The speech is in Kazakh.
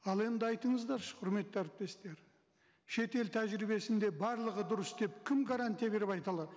ал енді айтыңыздаршы құрметті әріптестер шетел тәжірибесінде барлығы дұрыс деп кім гарантия беріп айта алады